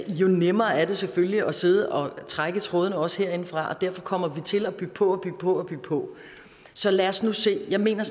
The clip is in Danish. jo nemmere er det selvfølgelig at sidde og trække i trådene også herindefra og derfor kommer vi til at bygge på og bygge på så lad os nu se jeg mener